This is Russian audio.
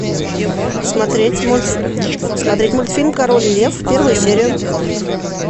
смотреть мультфильм король лев первую серию